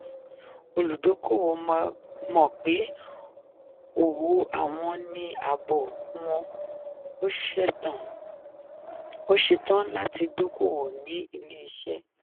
olùdókoòwò mọ̀ pé òwò àwọn ní ààbò wọ̀n ó ṣetán láti dókoòwò ní ilé-iṣẹ́.